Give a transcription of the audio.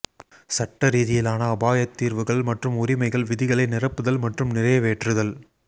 சட்ட ரீதியிலான அபாயத் தீர்வுகள் மற்றும் உரிமைகள் விதிகளை நிரப்புதல் மற்றும் நிறைவேற்றுதல்